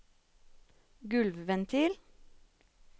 gulvventil